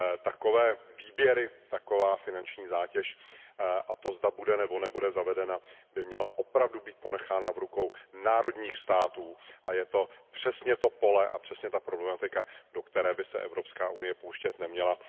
Takové výběry, taková finanční zátěž a to, zda bude nebo nebude zavedena, by měly opravdu být ponechány v rukou národních států a je to přesně to pole, přesně ta problematika, do které by se Evropská unie pouštět neměla.